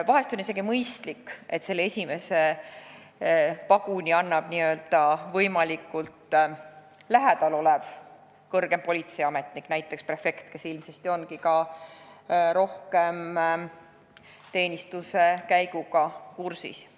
Vahest on isegi mõistlik, et selle esimese paguni annab n-ö võimalikult lähedal olev kõrgem politseiametnik, näiteks prefekt, kes ilmsesti ongi alluvate teenistuskäiguga kõige paremini kursis.